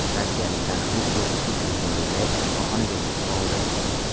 Rossiyalik taniqli qo‘shiqchi Grigoriy Leps shifoxonaga tushib qoldi.